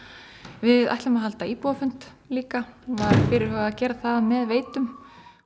við ætlum að halda íbúafund líka og var fyrirhugað að gera það með Veitum